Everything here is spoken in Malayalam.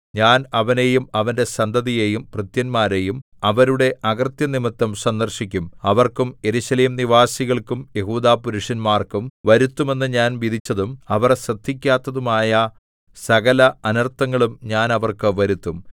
ഞാൻ അവനെയും അവന്റെ സന്തതിയെയും ഭൃത്യന്മാരെയും അവരുടെ അകൃത്യം നിമിത്തം സന്ദർശിക്കും അവർക്കും യെരൂശലേം നിവാസികൾക്കും യെഹൂദാപുരുഷന്മാർക്കും വരുത്തുമെന്ന് ഞാൻ വിധിച്ചതും അവർ ശ്രദ്ധിക്കാത്തതുമായ സകല അനർത്ഥങ്ങളും ഞാൻ അവർക്ക് വരുത്തും